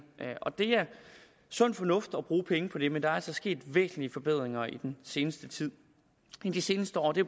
og det er sund fornuft at bruge penge på det men der er altså sket væsentlige forbedringer i den seneste tid i de seneste år det